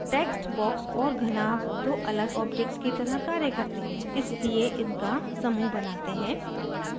text box और घनाभ दो अलग objects की तरह कार्य करते हैं इसलिए इनका समूह बनाते हैं